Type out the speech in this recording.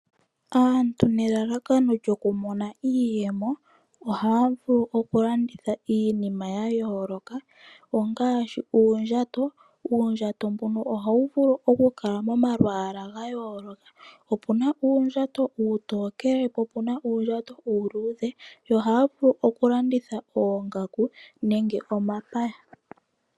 Aantu nelalakano lyokumona iiyemo oha ya vulu oku landitha iinima ya yooloka ongaashi:uundjato, Uundjato mbono ohawu vulu oku Kala momalwaa ga yooloka opuna uundjato uutokele po opuna uundjato uuluudhe, ogaya vulu oku landitha oongaku nenge omapaya.